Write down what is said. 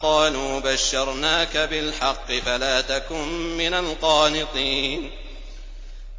قَالُوا بَشَّرْنَاكَ بِالْحَقِّ فَلَا تَكُن مِّنَ الْقَانِطِينَ